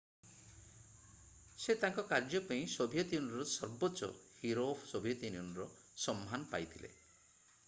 ସେ ତାଙ୍କ କାର୍ଯ୍ୟ ପାଇଁ ସୋଭିଏତ୍ ୟୁନିଅନ୍‌ର ସର୍ବୋଚ୍ଚ ହିରୋ ଅଫ୍ ସୋଭିଏତ୍ ୟୁନିଅନ୍ ସମ୍ମାନ ପାଇଥିଲେ।